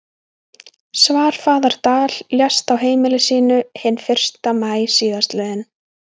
Svarfaðardal, lést á heimili sínu hinn fyrsta maí síðastliðinn.